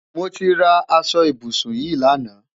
Mo ti rà àṣọ ìbùṣún yìí lánà.